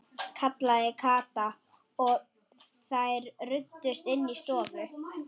kallaði Kata og þær ruddust inn í stofu.